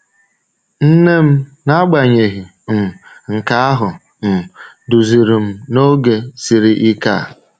Nne m, n’agbanyeghị um nke ahụ, um duziri m n’oge siri ike a.